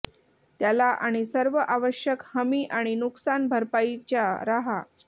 त्याला आणि सर्व आवश्यक हमी आणि नुकसान भरपाईच्या राहा